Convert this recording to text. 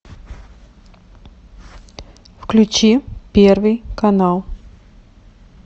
включи первый канал